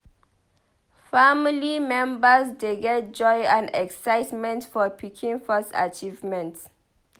Family members dey get joy and excitement for pikin first achievements.